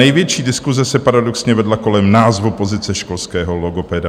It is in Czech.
Největší diskuse se paradoxně vedla kolem názvu pozice školského logopeda.